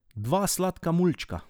Dva sladka mulčka.